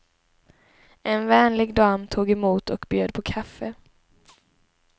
En vänlig dam tog emot och bjöd på kaffe.